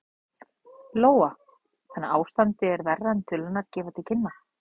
Lóa: Þannig að ástandið er verra en tölurnar gefa til kynna?